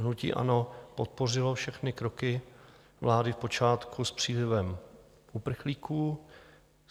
Hnutí ANO podpořilo všechny kroky vlády v počátku s přílivem uprchlíků.